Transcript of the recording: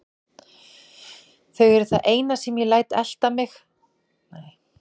Þau eru það eina sem ég læt eftir mig og kannski smávegis Símon og Sigga.